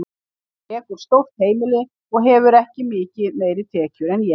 Hann rekur stórt heimili og hefur ekki mikið meiri tekjur en ég.